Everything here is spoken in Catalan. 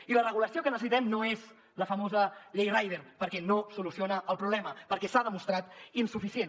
i la regulació que necessitem no és la famosa llei rider perquè no soluciona el problema perquè s’ha demostrat insuficient